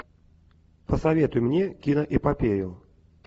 посоветуй мне киноэпопею